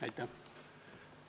Aitäh!